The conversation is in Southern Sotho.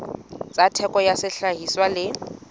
tsa theko ya sehlahiswa le